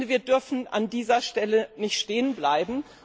Wir dürfen an dieser Stelle nicht stehenbleiben.